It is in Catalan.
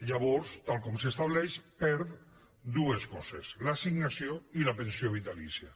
llavors tal com s’estableix perd dues coses l’assignació i la pensió vitalícia